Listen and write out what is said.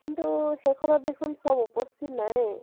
কিন্তু সেইখনত দেখুন চব উপস্থিত নাইয়ে?